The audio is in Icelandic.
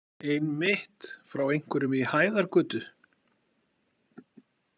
Einmitt, frá einhverjum í Hæðargötu?